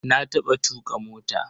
Na taɓa tuƙa mota.